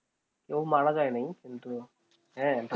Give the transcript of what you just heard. কেউ মারা যায় নি কিন্তু হ্যাঁ